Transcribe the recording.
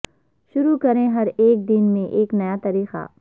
شروع کریں ہر ایک دن میں ایک نیا طریقہ